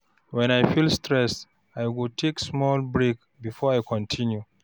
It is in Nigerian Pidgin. When I feel stressed, I go take small break before I continue.